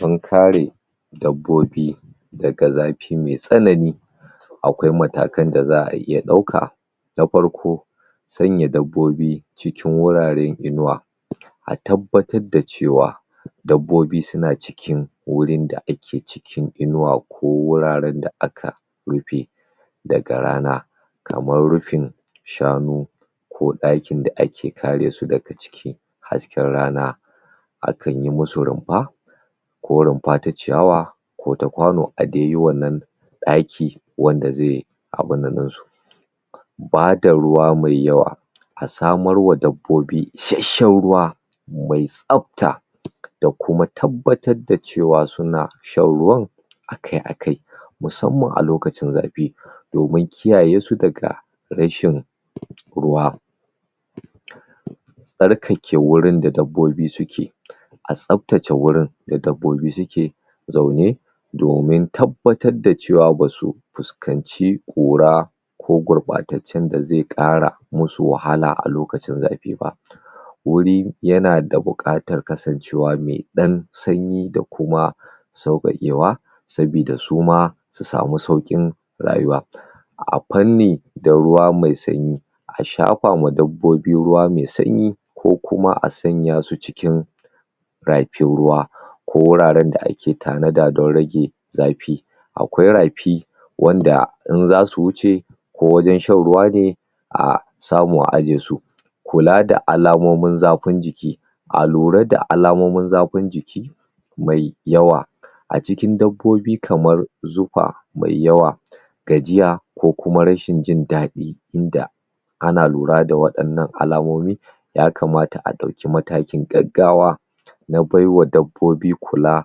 dan kare dabbobi daga zafi me tsanani aƙwai matakan da za a iya ɗauka na farko na farko sanya dabbobi cikin wuraran inuwa a tabbatar da cewa dabbobi suna cikin wurin da ake cikin inuwa ko wuraran da aka rufe daga rana kamar rufin shanu ko ɗakin da ake karesu daga ciki hasken rana akanyi musu runfa ko runfa ta ciyawa ko ta ƙwano adai yi wannan ɗaki wanda zaiyi abinnan ɗinsu bada ruwa mai yawa a samarwa dabbobi ishasshan ruwa mai tsafta da kuma tabbatar da cewa suna shan ruwan akai akai musamman a lokacin zafi domin kiyayesu daga rashin ruwa tsarkake wurin da dabbobi suke a tsaftace wurin da dabbobi suke zaune domin tabbatar da cewa basu fuskanci ƙura ko gurɓatatcan da zai ƙara musu wahala a lokacin zafi ba wuri yana da buƙatar kasancewa me ɗan sanyi da kuma sauƙaƙewa sabida su sami sauƙin rayuwa a fanni da ruwa mai sanyi a shafama dabbobi ruwa me sanyi ko kuma a sanyasu cikin rafin ruwa ko wuraran da ake tanada don rage zafi aƙwai rafi wanda in zasu wuce ko wajan shan ruwa ne a samu a ajesu kula da alamomin zafin jiki a lura da alamomin zafin jiki mai mai yawa a cikin dabbobi kamar zufa mai yawa gajiya ko kuma rashin jindaɗi da ana lura da waɗannan alamomi ya kamata a ɗauke matakin gaggawa na baiwa dabbobi kula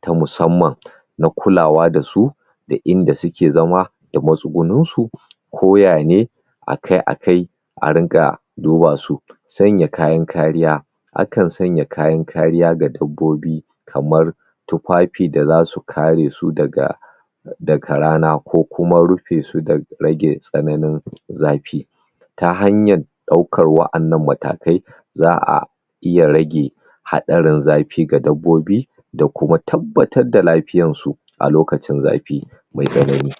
ta musamman na kulawa dasu da inda suke zama da matsugunnin su ko yane akai akai a riƙa dubasu sanya kayan kariya akan sanya kayan kariya ga dabbobi kamar tufafi da zasu karesu daga rana ko kuma rufesu da rage tsananin zafi ta hanyar ɗaukan wa annan matakai za a iya rage haɗarin zafi ga dabbobi da kuma tabbatar da lafiyansu a lokacin zafi mai tsanani